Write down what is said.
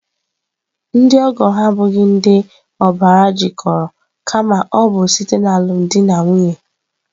Ndị ọgọ ha abụghị ndị obars jikoro kama ọ bụ site alumdi na nwunye.